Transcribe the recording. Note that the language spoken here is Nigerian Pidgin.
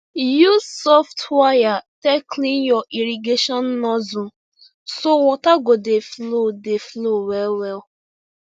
use soft wire take clean your irrigation nozzle so water go dey flow dey flow well well